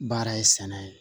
Baara ye sɛnɛ ye